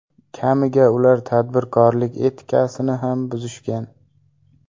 Kamiga, ular tadbirkorlik etikasini ham buzishgan.